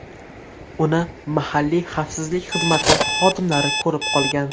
Uni mahalliy xavfsizlik xizmati xodimlari ko‘rib qolgan.